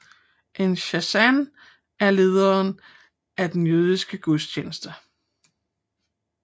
En chazzan er lederen af den jødiske gudstjeneste